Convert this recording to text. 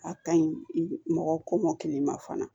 A ka ɲi mɔgɔ kɔmɔkili ma fana